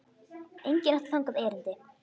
Enginn átti þangað erindi.